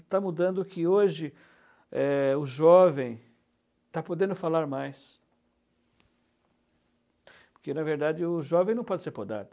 Está mudando que hoje é o jovem está podendo falar mais, porque na verdade o jovem não pode ser podado.